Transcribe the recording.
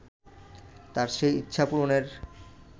তাঁর সেই ইচ্ছা পূরণের